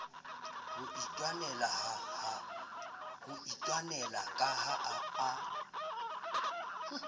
ho itwanela ka ha a